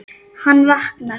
Hann vaknar.